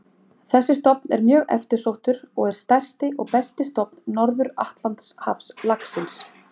Þessi stofn er mjög eftirsóttur og er stærsti og besti stofn Norður-Atlantshafslaxins.